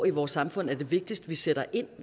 i vores samfund er vigtigst at vi sætter ind